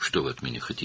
Məndən nə istəyirsiniz?